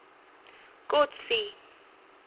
kotsi